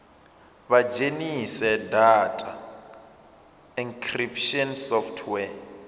vha dzhenise data encryption software